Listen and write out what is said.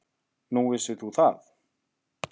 Nú, vissir þú það?